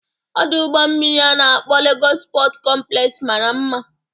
Ọdụ ụgbọ mmiri a na-akpọ Legos Pọt kọmplex mara mma